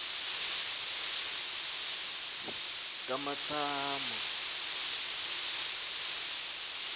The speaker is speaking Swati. kamatsamo